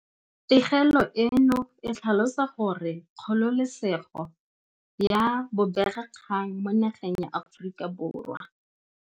Pegelo eno e tlhalosa gore kgololesego ya bobegakgang mo nageng ya Aforika Borwa.